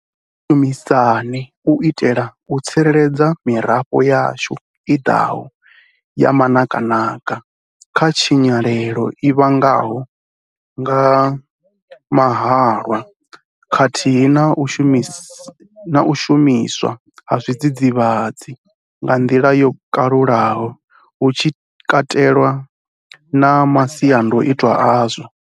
Kha ri shumisane u itela u tsireledza mirafho yashu i ḓaho ya manakanaka kha tshinyalelo i vhangwaho nga mahalwa khathihi na u shumiswa ha zwidzidzivhadzi nga nḓila yo kalulaho hu tshi katelwa na masiandaitwa azwo.